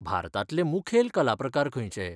भारतांतले मुखेल कलाप्रकार खंयचे?